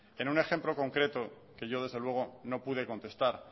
en un ejemplo concreto que yo desde luego no pude contestar